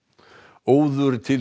óður til